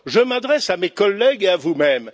Je m'adresse à mes collègues et à vous même.